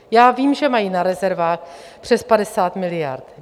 Já vím, že mají na rezervách přes 50 miliard.